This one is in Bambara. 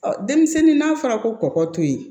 denmisɛnnin n'a fɔra ko kɔkɔ to yen